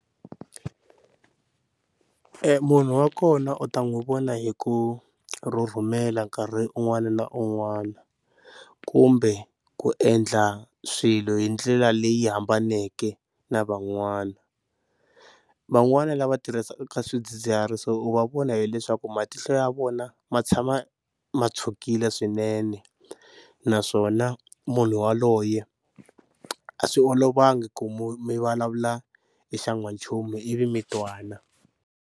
Munhu wa kona u ta n'wi vona hi ku rhumela nkarhi un'wana na un'wana kumbe ku endla swilo hi ndlela leyi hambaneke na van'wana. Van'wani lava tirhisaka swidzidziharisi u va vona hileswaku matihlo ya vona ma tshama ma tshukile swinene naswona munhu yaloye a swi olovanga ku mi vulavula hi xa n'wanchumu ivi mi twana.